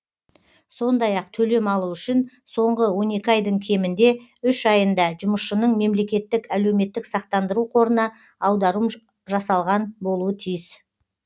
сондай ақ төлем алу үшін соңғы он екі айдың кемінде үш айында жұмысшының мемлекеттік әлеуметтік сақтандыру қорына аударым жасалған болуы тиіс